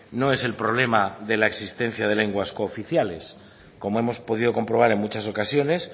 no es el problema de la existencia de lenguas cooficiales como hemos podido comprobar en muchas ocasiones